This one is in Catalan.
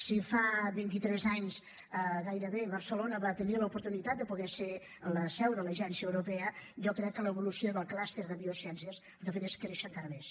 si fa vint i tres anys gairebé barcelona va tenir l’oportunitat de poder ser la seu de l’agència europea jo crec que l’evolució del clúster de biociències el que ha fet és créixer encara més